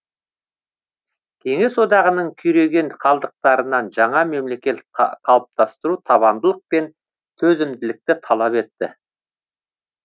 кеңес одағының күйреген қалдықтарынан жаңа мемлекет қалыптастыру табандылық пен төзімділікті талап етті